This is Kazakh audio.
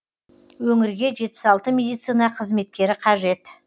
өңірге жетпіс алты медицина қызметкері қажет